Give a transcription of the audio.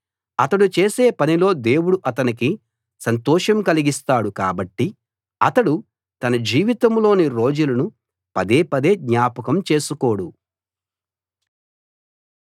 అతడు చేసే పనిలో దేవుడు అతనికి సంతోషం కలిగిస్తాడు కాబట్టి అతడు తన జీవితంలోని రోజులను పదే పదే జ్ఞాపకం చేసుకోడు